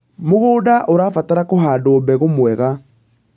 mũgũnda ũrabatara kuhandwo mbegũ mwega